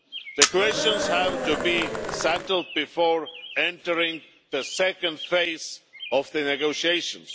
These questions have to be settled before entering the second phase of the negotiations.